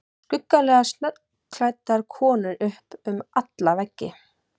Skuggalega snöggklæddar konur upp um alla veggi.